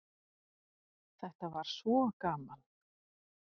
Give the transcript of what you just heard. Þetta var svo gaman.